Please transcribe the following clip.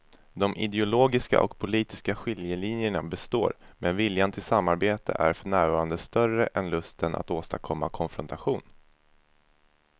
De ideologiska och politiska skiljelinjerna består men viljan till samarbete är för närvarande större än lusten att åstadkomma konfrontation.